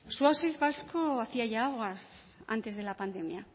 su oasis vasco hacía ya aguas antes de la pandemia